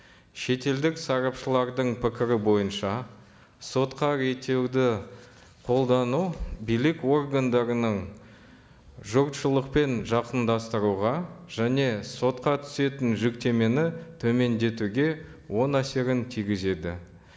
шетелдік сарапшылардың пікірі бойынша сотқа реттеуді қолдану билік органдарының жұртшылықпен жақындастыруға және сотқа түсетін жүктемені төмендетуге оң әсерін тигізеді